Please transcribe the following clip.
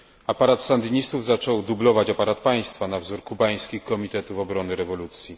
Aparat sandynistów zaczął dublować aparat państwa na wzór kubańskich Komitetów Obrony Rewolucji.